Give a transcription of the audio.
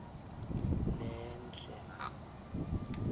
lenhle